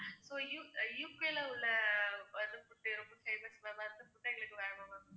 so U~ U. K. ல உள்ள அந்த food ரொம்ப famous ma'am அந்த food எங்களுக்கு வேணும் ma'am